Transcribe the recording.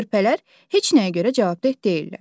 Körpələr heç nəyə görə cavabdeh deyillər.